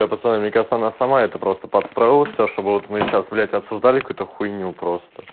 не пацаны мне кажется она сама это просто подстроила всё чтобы вот мы сейчас блядь обсуждали какую-то хуйню просто